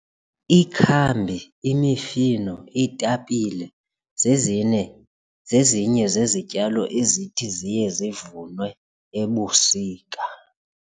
Ikhambi, imifino, iitapile zezine zezinye zezityalo ezithi ziye zivunwe ebusika.